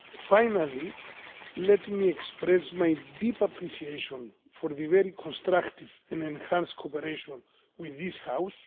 Finally, let me express my deep appreciation for the very constructive and enhanced cooperation with this House.